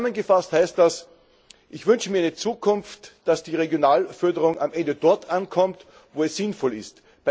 Zusammengefasst heißt das, ich wünsche mir in der Zukunft, dass die Regionalförderung am Ende dort ankommt, wo es sinnvoll ist.